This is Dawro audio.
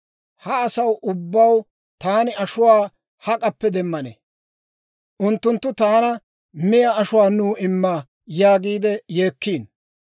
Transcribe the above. Ha asaw ubbaw taani ashuwaa hak'appe demmanee? Unttunttu taana, ‹Miyaa ashuwaa nuw imma› yaagiide yeekkiino.